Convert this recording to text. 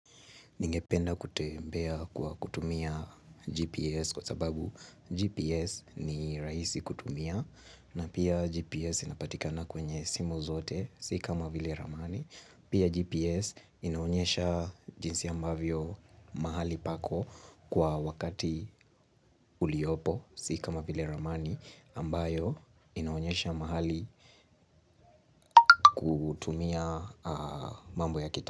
Ningependa kutembea kwa kutumia GPS, kwa sababu GPS ni rahisi kutumia na pia, GPS inapatika kwenye simu zote, si kama vile ramani Pia GPS, inaonyesha jinsi ambavyo mahali pako, kwa wakati uliopo, si kama vile ramani ambayo inaonyesha mahali kutumia mambo ya kita.